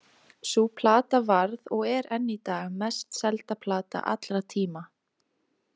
Sú plata varð og er enn í dag mest selda plata allra tíma.